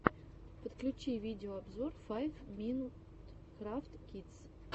подключи видеообзор файв минут крафтс кидс